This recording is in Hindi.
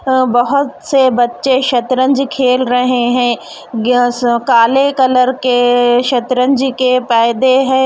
अ बहोत से बच्चे शतरंज खेल रहे हे काले कलर के शतरंज के पैदे हे.